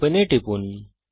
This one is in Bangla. Open এ টিপুন